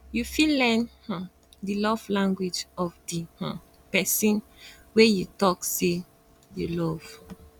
you fit learn um di love language of di um perosn wey you talk um sey you love